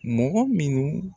Mɔgɔ minnu